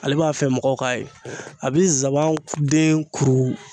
Ale b'a fɛ mɔgɔw k'a ye a bi zaban de ko